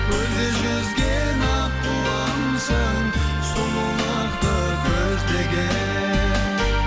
көлде жүзген аққуымсың сұлулықты көздеген